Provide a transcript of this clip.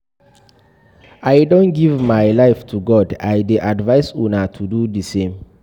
I don give my life to God, I dey advice una to do the same